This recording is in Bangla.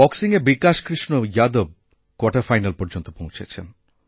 বক্সিংওবিকাশ কৃষ্ণ যাদব কোয়ার্টার ফাইনাল পর্যন্ত পৌঁছেছেন